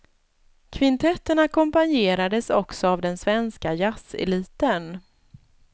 Kvintetten ackompanjerades också av den svenska jazzeliten.